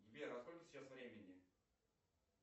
сбер а сколько сейчас времени